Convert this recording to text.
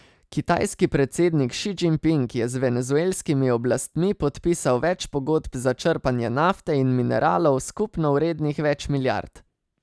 Kitajski predsednik Ši Džingping je z venezuelskimi oblastmi podpisal več pogodb za črpanje nafte in mineralov, skupno vrednih več milijard.